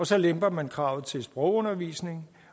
så lemper man kravet til sprogundervisning